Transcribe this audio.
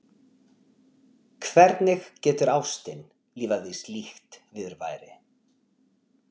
Hvernig getur ástin lifað við slíkt viðurværi?